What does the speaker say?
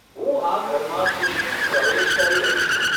હું આ ઘરમાં ખુશીથી પ્રવેશ કરી રહી છું.